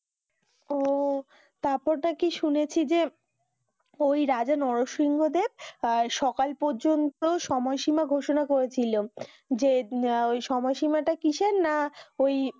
ওহ তারপর নাকি শুনেছি যে ওই রাজা নরসিংহ দেব কাল সকাল পর্যন্ত সময় শিমা ঘোষণা করেছিলেন যে না ওই সময় সীমাটা কিসের না ওই